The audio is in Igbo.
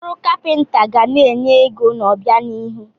Ọrụ kapịnta ga na-enye ego n'obianihu.